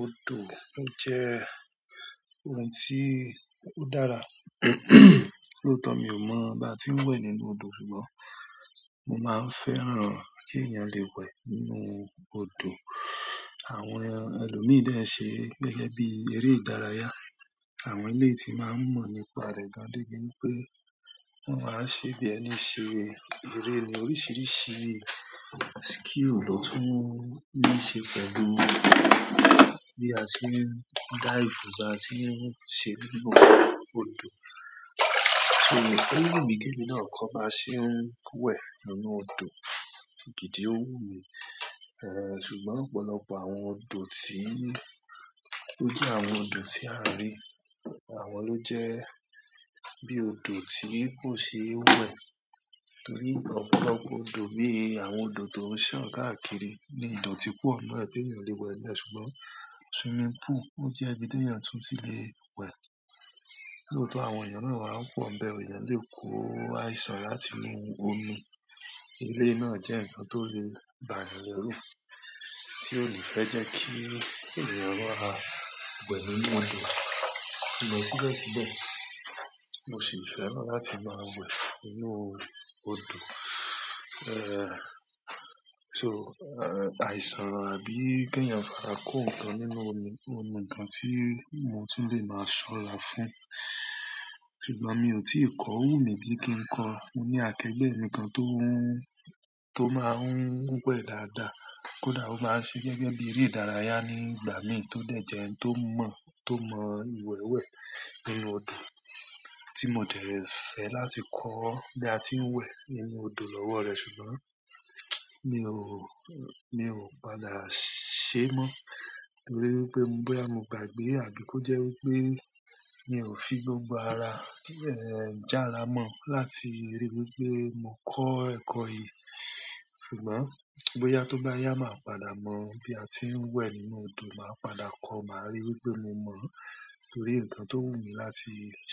Odò ó jẹ́ ohun tí ó dára, lóòtọ mi ò mọ̀ bí a ti ń wẹ̀ nínú odò ṣùgbọ́n mo máa fẹ́ràn kí èèyàn lè wẹ̀ nínú odò. Àwọn ẹlòmíì dẹ̀ ẹ ṣe gẹ́gẹ́ bí eré ìdárayá. Àwọn eléyi tí n máa ń mọ̀ nípa rẹ̀ gan de bí wipé wọ́n máa ń ṣe bí ẹni ṣe eré ni oríṣiiríṣii skill ló tún níí ṣe pẹ̀lú bí a ṣe ń dive, bí a ṣe ń ṣe nínú odò. So o wu mi ki emi náà kọ́ bá ṣe ń wẹ̀ nínú odò, gìdí ó wù mí. Ṣùgbọ́n ọ̀pọ̀lọpọ̀ àwọn odò tí ó jẹ́ àwọn odò tí a rí àwọn ló jẹ́ bí odò tí kò ṣe é wẹ̀ torí ọ̀pọ̀lọpọ̀ odò bí i àwọn odò to n san káàkiri ni idòtí pò n nue ẹbí ènìyàn le wẹ̀ ẹ. Ṣùgbọ́n swimming pool ó jẹ́ ibi tí èèyàn tún ti lè wẹ̀. Lóòtọ àwọn èèyàn náà máa ń pò n bẹ́ o èèyàn le ko. Àìsàn láti inú omi eléyi náà jẹ́ nǹkan tó lè bà eeyàn lẹrú tí ó ni fẹ́ jẹ́ kí ènìyàn maà wẹ nínú odò. Ṣùgbọ́n síbẹ̀ síbẹ̀, mo sì fẹ́ràn láti máa wẹ̀ nínú odò. So, àìsàn àbí ki eeyan fi ara ko nǹkan nínú omi oun ni nǹkan ti mo tun le maa sora fún ṣùgbọ́n mi ò tí ì kọ́, ò wu mí bí i kí ń kọ. Mo ní àkẹgbẹ́ mi kan tó ń tó máa ń wẹ̀ dáadáa, kódà ó maá n ṣe gẹ́gẹ́ bí eré ìdárayá nígbà mí tó dẹ̀ jẹ ẹni tó mọ̀ tó mọ ìwẹ́ wẹ̀ nínú odò tí mo dẹ̀ fẹ́ láti kọ́ bí a ti ń wẹ̀ nínú odò lọ́wọ́ rẹ̀ ṣùgbọ́n mi ò mi ò padà ṣe mọ́ torí wipé bóyá mo gbàgbé àbí kó jẹ́ wí pé mi ò fi gbogbo ara jàrá mọ́ láti ríi wí pé mo kọ́ ẹ̀kọ́ yìí. Ṣùgbọ́n bóyá tó bá yá, màá padà mọ̀ bí a ti ń wẹ̀ nínú odò, màá padà kọ́, màá ríi wípé mo mọ̀ torí nǹkan tó wù mí láti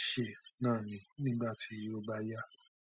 ṣe náà ni nígbà tí ó bá yá.